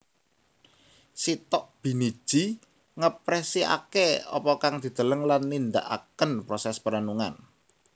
Sitok biniji ngekpresiake apa kang dideleng lan nindakaken proses perenungan